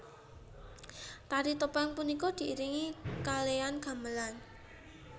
Tari topeng punika diiringi kalean gamelan